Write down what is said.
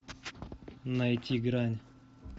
найти грань